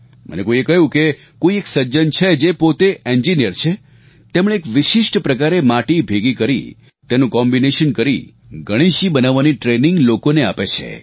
મને કોઈએ કહ્યું કે કોઈ એક સજ્જન છે જે પોતે ઇન્જિનિયર છે તેમણે એક વિશિષ્ટ પ્રકારે માટી ભેગી કરી તેનું કોમ્બિનેશન કરી ગણેશજી બનાવવાની ટ્રેનિંગ લોકોને આપે છે